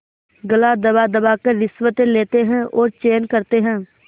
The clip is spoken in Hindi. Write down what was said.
गला दबादबा कर रिश्वतें लेते हैं और चैन करते हैं